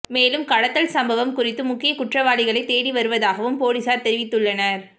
மேலும் கடத்தல் சம்பவம் குறித்து முக்கிய குற்றவாளிகளை தேடி வருவதாகவும் பொலிஸார் தெரிவித்துள்ளனர்